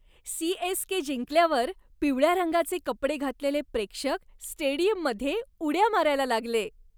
CSK. जिंकल्यावर पिवळ्या रंगाचे कपडे घातलेले प्रेक्षक स्टेडियममध्ये उड्या मारायला लागले.